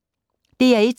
DR1